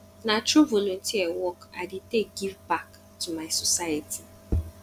na through volunteer work i dey take give back to my society